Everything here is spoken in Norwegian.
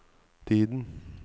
tiden